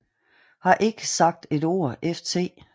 Har Ik Sagt Et Ord ft